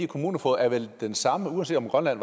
kommunefogeder er vel den samme uanset om grønland